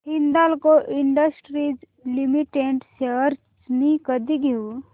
Hindalco industries limited shares मी कधी घेऊ